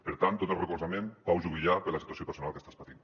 per tant tot el recolzament pau juvillà per la situació personal que estàs patint